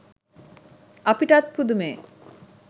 අපිටත් පුදුමෙ.